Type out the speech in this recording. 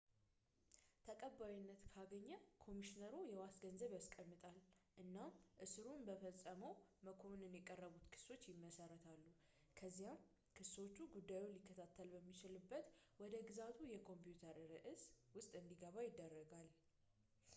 ተቀባይነት ካገኘ ኮሚሽነሩ የዋስ ገንዘብን ያስቀምጣል እና እስሩን በፈጸመው መክኮንን የቀረቡትን ክሶች ይመሰርታ ከዚያም ክሶቹ ጉዳይ ሊከታተል በሚችልበት ወደ ግዛቱ የኮምፕዩተር ስረዕት ውስጥ እንዲገባ ይደረጋል